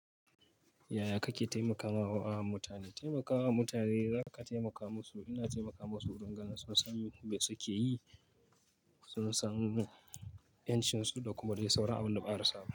Yaya kake taimakama wa mutane? Taimakawa mutane zaka taimaka musu, ina taimaka musu wurin gan sun san me suke yi, sun san ƴancinsu da kuma dai sauran abin da ba a rasa ba.